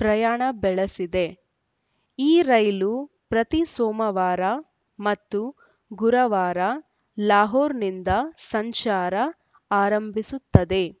ಪ್ರಯಾಣ ಬೆಳೆಸಿದೆ ಈ ರೈಲು ಪ್ರತಿ ಸೋಮವಾರ ಮತ್ತು ಗುರುವಾರ ಲಾಹೋರ್‌ನಿಂದ ಸಂಚಾರ ಆರಂಭಿಸುತ್ತದೆ